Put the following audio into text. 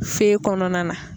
kɔnɔna na.